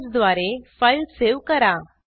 Ctrl स् द्वारे file save करा